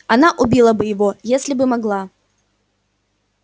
она убила бы его если бы могла